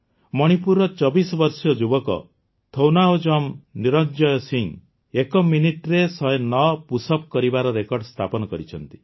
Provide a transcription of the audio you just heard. ମଣିପୁରର ୨୪ ବର୍ଷୀୟ ଯୁବକ ଥୌନାଓଜମ ନିରଞ୍ଜୟ ସିଂହ ଏକ ମିନିଟରେ ୧୦୯ ପୁଶ୍ଅପ୍ସ କରିବାର ରେକର୍ଡ ସ୍ଥାପନ କରିଛନ୍ତି